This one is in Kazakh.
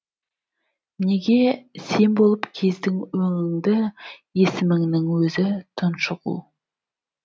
неге сен болып кездің өңіңді есіміңнің өзі тұншығу